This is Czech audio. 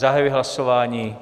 Zahajuji hlasování.